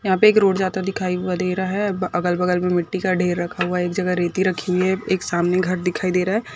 यहाँ पे एक रोड जाता दिखाई व दे रहा है अ अगल बगल मे मिट्ठी का ढेर रखा हुआ है एक जगह रेती रखी हुई है एक सामने घर दिखाई दे रहा है।